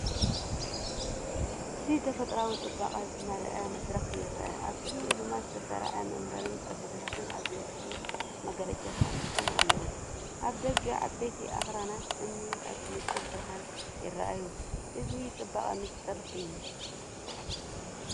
እዚ ተፈጥሮኣዊ ጽባቐ ዝመልአ መድረኽ ይረአ፤ ኣብ ቅድሚኡ ድማ ዝተሰርዑ መንበርን ጠረጴዛታትን ኣብ ግሉጽ መጋረጃ ተቐሚጦም ኣለዉ። ኣብ ደገ፡ ዓበይቲ ኣኽራናት እምኒ ኣብ ንጹር ብርሃን ይረኣዩ፡ እዚ ጽባቐ ምስጢር እዩ።